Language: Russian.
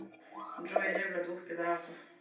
джой ебля двух пидарасов